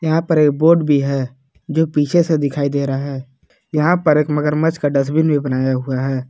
यहां पर एक बोर्ड भी है जो पीछे से दिखाई दे रहा है यहां पर एक मगरमच्छ का डस्टबीन भी बनाया हुआ है।